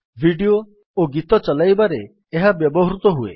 video ଓ ଗୀତ ଚଲାଇବାରେ ଏହା ବ୍ୟବହୃତ ହୁଏ